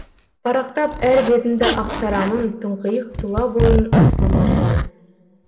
парақтап әр бетіңді ақтарамын тұңғиық тұла бойың асыл маржан